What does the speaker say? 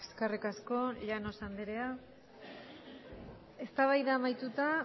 eskerrik asko llanos andrea eztabaida amaituta